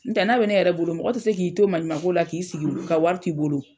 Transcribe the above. N tɛ n'a be ne yɛrɛ bolo, mɔgɔ tɛ se k'i to maɲuman ko la k'i sigi ka wari to i bolo.